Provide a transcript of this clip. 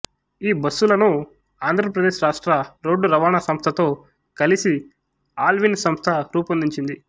ఈ బస్సులను ఆంధ్రప్రదేశ్ రాష్ట్ర రోడ్డు రవాణా సంస్థతో కలిసి ఆల్విన్ సంస్థ రూపొందించింది